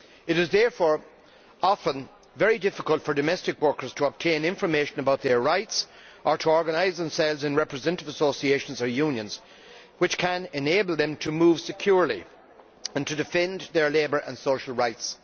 It is therefore often very difficult for domestic workers to obtain information about their rights, or to organise themselves in representative associations or unions which can enable them to move securely and to defend their labour and social rights.